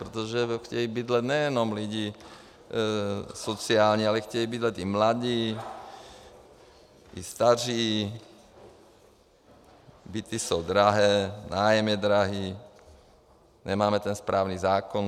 Protože chtějí bydlet nejenom lidi sociální, ale chtějí bydlet i mladí, i staří, byty jsou drahé, nájem je drahý, nemáme ten správný zákon.